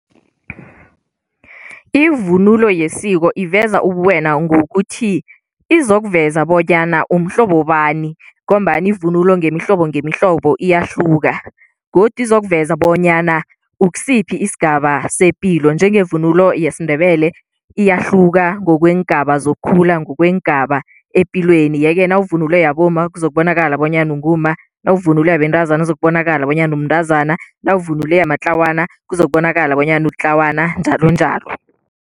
Ivunulo yesiko iveza ubuwena ngokuthi izokuveza bonyana umhlobo bani ngombana ivunulo ngemihlobo ngemihlobo iyahluka godu izokuveza bonyana ukusiphi isigaba sepilo, njengevunulo yesiNdebele iyahluka ngokweengaba zokukhula, ngokweengaba epilweni yeke nawuvunule yabomma kuzokubonakala bonyana ungumma, nawuvunule yabentazana kuzokubonakala bonyana umntazana, nawuvunule yamatlawana kuzokubonakala bonyana ulitlawana, njalonjalo.